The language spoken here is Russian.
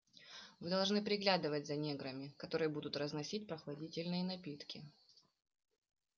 вы должны приглядывать за неграми которые будут разносить прохладительные напитки